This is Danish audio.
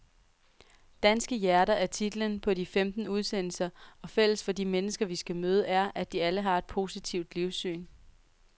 Danske hjerter er titlen på de femten udsendelser, og fælles for de mennesker vi skal møde er, at de alle har et positivt livssyn.